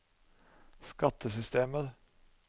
skattesystemet